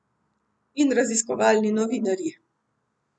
In raziskovalni novinarji.